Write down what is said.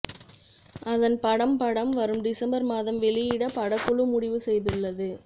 அதன்படம் படம் வரும் டிசம்பர் மாதம் வெளியிட படக்குழு முடிவு செய்துள்ளது